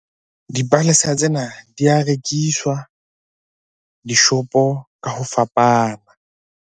Dipalesa tsena di ya rekiswa dishopo ka ho fapana.